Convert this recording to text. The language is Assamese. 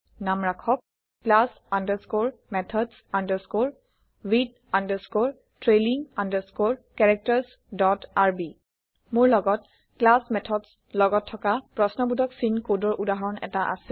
নাম ৰাখক class underscore methods underscore with underscore trailing underscore characters dot rb মোৰ লগত ক্লাছ মেথডছ লগত থকা প্ৰশ্ন বোধক চিন কডৰ উদাহৰণ এটা আছে